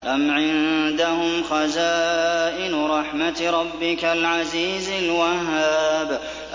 أَمْ عِندَهُمْ خَزَائِنُ رَحْمَةِ رَبِّكَ الْعَزِيزِ الْوَهَّابِ